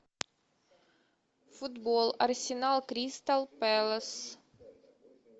футбол арсенал кристал пэлас